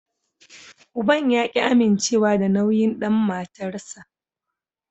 Uban ya ki amincewa da nauyin dan matarsa.